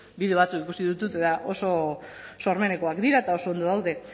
bideo batzuk ikusi ditut eta oso sormenekoak dira eta oso ondo daude